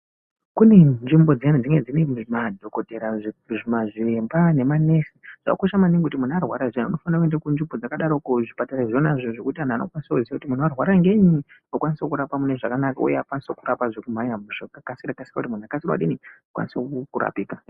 Kune nzvimbo dziyani dzinenge dzine madhokotera mazviremba nemanesi. Zvakakosha maningi kuti munhu arwara zviyani unofane kuende kunzvimbo dzkadaroko kuzvipatara izvona zvokuti anhu anokwanise kuziya kuti munhu warwara ngenyi vakanise kukurapa mune zvakanaka zvekukasira-kassira kuti munhu akwanise kudini, akwanise kurapika.